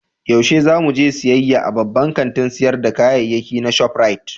Yaushe za mu je siyayya a babban kantin sayar da kayayyaki na Shop Rite?